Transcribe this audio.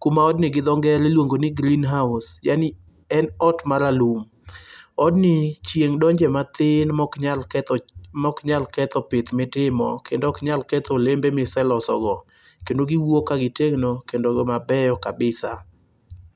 kuma odni iluongo gi dho ngere ni green house yani en ot maralum. Odni chieng' donje mathin mok nyal ketho pith mitimo kendo ok nyal ketho olembe miselosogo kendo giwuok kagitegno kendo mabeyo kabisa.